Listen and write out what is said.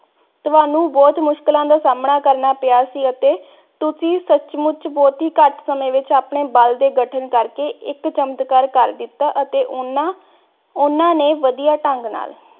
ਤੁਹਾਨੂੰ ਬੁਹਤ ਮੁਸ਼ਕਿਲਾਂ ਦਾ ਸਾਮਣਾ ਕਰਨਾ ਪਿਆ ਸੀ ਅਤੇ ਤੁਸੀਂ ਸੱਚਮੁੱਚ ਬੁਹਤ ਹੀ ਘਾਟ ਸਮੇ ਵਿਚ ਆਪਣੇ ਬਲ ਦੇ ਗਠਨ ਕਰਕੇ ਇਕ ਚਮਤਕਾਰ ਕਰ ਦਿੱਤਾ ਅਤੇ ਓਹਨਾ ਓਹਨਾ ਨੇ ਵੜਿਆ ਢੰਗ ਨਾਲ